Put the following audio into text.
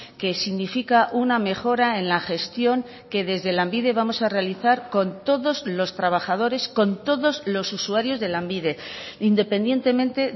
que significa una mejora en la gestión que desde lanbide vamos a realizar con todos los trabajadores con todos los usuarios de lanbide independientemente